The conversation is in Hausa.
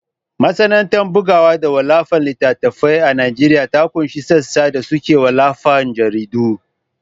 Masana’antar bugawa da wallafa littattafai a Najeriya ta ƙunshi sassa da suke wallafa jaridu.